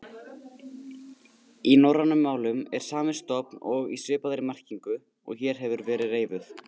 Í norrænum málum er sami stofn og í svipaðri merkingu og hér hefur verið reifuð.